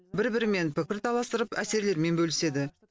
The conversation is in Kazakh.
бір бірімен пікір таластырып әсерлерімен бөліседі